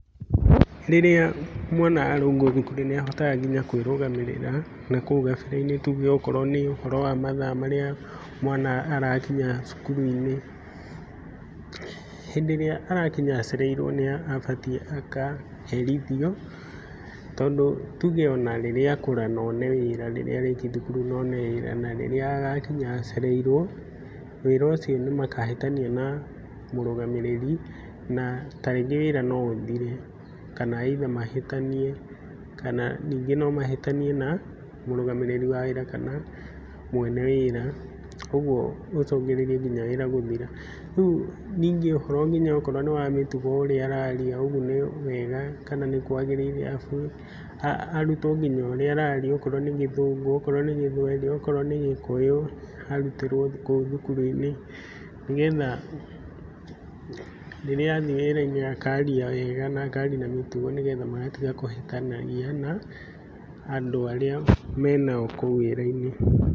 Rĩrĩa mwana arũngwo thukuru niahotaga nginya kwĩrũgamĩrĩrĩra nakũu gabere-inĩ, tuge okorwo nĩ ũhoro wa mathaa marĩa mwana arakinya cukuru-inĩ. Hĩndĩ ĩrĩa arakinya acereirwo nĩabatiĩ akaherithio, tondũ tuge ona rĩrĩa akũra none wĩra, rĩrĩa arĩkia thukuru none wĩra na rĩrĩa agakinya acereirwo, wĩra ucio nĩmakahĩtania na mũrũgamĩrĩri, na ta rĩngĩ wĩra no ũthire, kana either mahĩtanie, kana ningĩ no mahĩtanie na mũrũgamĩrĩri wa wĩra, kana mwene wĩra, ũguo gũcũngĩrĩrie nginya wĩra gũthira. Rĩu ningĩ ũhoro nginya okorwo nĩ wa mĩtugo ũrĩa araria ũguo nĩ wega, kana nĩkwagĩrĩire abu arutwo nginya ũrĩa araria, okorwo ni Gĩthũngũ, okorowo ni Gĩthweri, okorwo ni Gĩkũyũ arutĩrwo kũu thukuru-inĩ, ni getha rĩrĩa athiĩ wĩra-inĩ akaria wega na akaria na mĩtugo nĩ getha magatiga kũhĩtanagia na andũ arĩa menao kũu wĩra-inĩ.